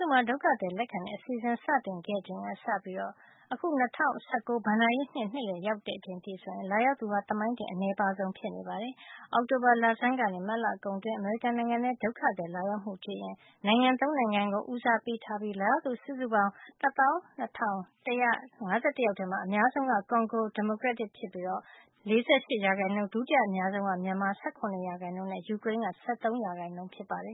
ုမှာ ဒုက္ခသည်လက်ခံတဲ့ အစီအစဉ်စတင်ခဲ့ချိန်ကစပြီး အခု ၂၀၁၉ ဘဏ္ဍာရေးနှစ်ရဲ့ နှစ်လည်ကို ရောက်လာချိန်အထိ ဆိုရင် လာရောက်သူဟာ သမိုင်းတင် အနည်းပါးဆုံး ဖြစ်နေပါတယ်။ နိုင်ငံခြားရေးဌာနရဲ့ ထုတ်ပြန်ချက်အရ ၂၀၁၈ အောက်တိုဘာ ၁ ရက် ကနေ ၂၀၁၉ မတ်လ ၃၁ ရက် အတွင်း အမေရိကန်နိုင်ငံထဲ ဒုက္ခသည်လာရောက်မှုကို ကြည့်ရင် နိုင်ငံ ၃ နိုင်ငံကို ဦးစားပေးထားတာ တွေ့ရပြီး လာရောက်သူစုစုပေါင်း ၁၂,၁၅၁ ယောက်ထဲမှာ အများဆုံးက ကွန်ဂို ဒီမိုကရက်တစ် သမ္မတနိုင်ငံ ဖြစ်ပြီး ၄၈ ရာခိုင်နှုန်း၊ ဒုတိယအများဆုံးက မြန်မာ ၁၇ ရာခိုင်နှုန်း နဲ့ ယူကရိန်းက ၁၃ ရာခိုင်နှုန်း ဖြစ်ပါတယ